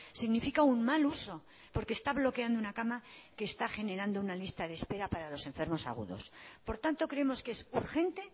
significa un mal uso porque está bloqueando una cama que está generando una lista de espera para los enfermos agudos por tanto creemos que es urgente